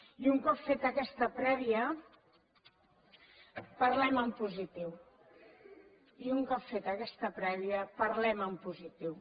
i un cop feta aquesta prèvia parlem en positiu i un cop feta aquesta prèvia parlem en positiu